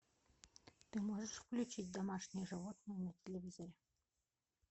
ты можешь включить домашние животные на телевизоре